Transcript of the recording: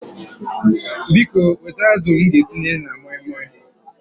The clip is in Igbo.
Biko wete azụ m ga-etinye na moi moi